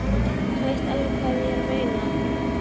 Þú veist alveg hvað ég meina!